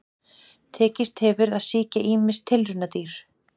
Tekist hefur að sýkja ýmis tilraunadýr.